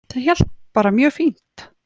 Það hélt bara mjög fínt